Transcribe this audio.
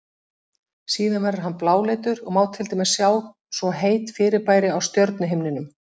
Síðan verður hann bláleitur og má til dæmis sjá svo heit fyrirbæri á stjörnuhimninum.